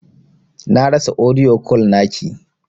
Na rasa audio call naki.